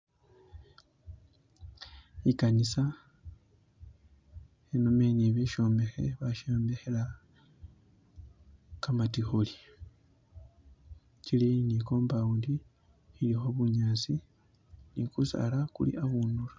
Ikanisa khenomendi shimbokhe bashombekhela gamategula chili ni compound ilikho bunyaasi ni gusala guli akhundulo.